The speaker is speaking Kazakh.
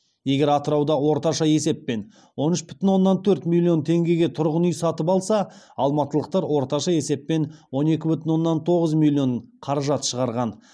егер атырауда орташа есеппен он үш бүтін оннан төрт миллион теңгеге тұрғын үй сатып алса алматылықтар орташа есеппен он екі бүтін оннан тоғыз миллион қаражат шығарған